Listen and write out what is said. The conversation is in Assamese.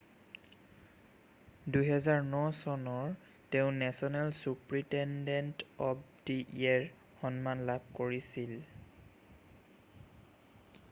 2009 চনৰ তেওঁ national superintendent of the year সন্মান লাভ কৰিছিল